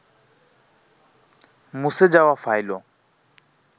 মুছে যাওয়া ফাইলও